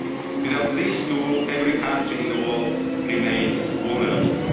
and a vaccine. Without this tool, every country in the world remains